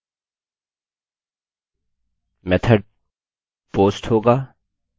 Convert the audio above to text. method post होगा